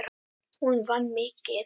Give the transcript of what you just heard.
Hún vann mikið.